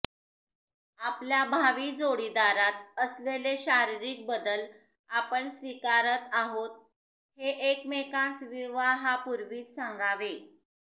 आपल्या भावी जोडीदारात असलेले शारीरिक बदल आपण स्वीकारत आहोत हे एकमेकांस विवाहापूर्वीच सांगावे